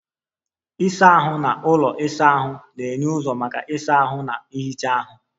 Ịsa ahụ na ụlọ isa ahụ na-enye ụzọ maka ịsa ahụ na ihicha ahụ.